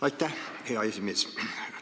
Aitäh, hea esimees!